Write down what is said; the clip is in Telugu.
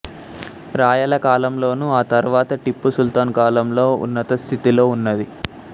రాయల కాలంలోను ఆ తర్వాత టిప్పు సుల్తాన్ కాలంలో ఉన్నతస్థితిలో ఉన్నది